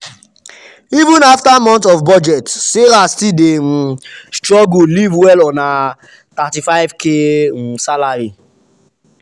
even after months of budget sarah still dey um struggle live well on her her $35k um salary.